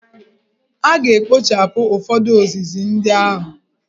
A ga-ekpochapụ ụfọdụ ozizi ndị ahụ.